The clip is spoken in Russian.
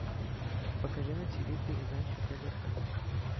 покажи на тиви передачу тдк